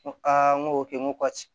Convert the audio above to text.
N ko aa n ko n ko ka ci